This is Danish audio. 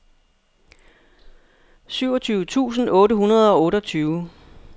syvogtyve tusind otte hundrede og otteogtyve